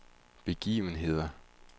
begivenheder